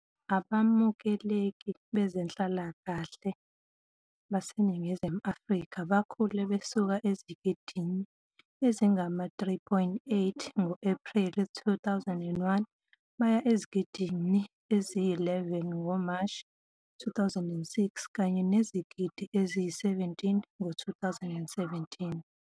Abamukeli bezenhlalakahle baseNingizimu Afrika bakhule besuka ezigidini ezingama-3.8 ngo-Ephreli 2001 baya ezigidini eziyi-11 ngoMashi 2006, kanye nezigidi eziyi-17 ngo-2017.